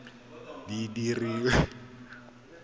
di dira go ya ka